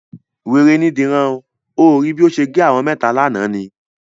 Wèrè ni Dìran. O ò rí bí ó ṣe gé àwọn mẹ́ta lánàá ni?